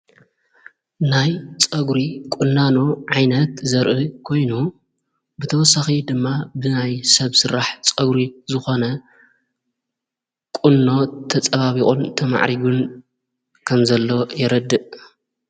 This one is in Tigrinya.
ናይ ጸጕሪ ቊንናኖ ዓይነት ዘርኢ ኮይኑ ብተወሳኺ ድማ ብናይ ሰብ ሥራሕ ጸጕሪ ዝኾነ ቊኖ ተጸባቢቖን ተማዕሪግን ከንዘለ የረድእ::